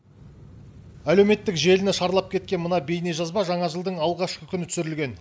әлеуметтік желіні шарлап кеткен мына бейнежазба жаңа жылдың алғашқы күні түсірілген